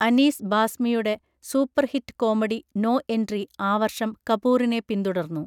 അനീസ് ബാസ്മിയുടെ superhit comedy 'no entry' ആ വർഷം കപൂറിനെ പിന്തുടർന്നു.